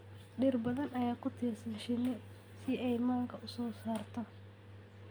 Dhir badan ayaa ku tiirsan shinni si ay manka u soo saarto.